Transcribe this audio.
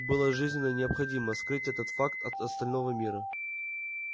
было жизненно необходимо скрыть этот факт от остального мира